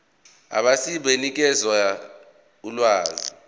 abegcis benganikeza ulwazi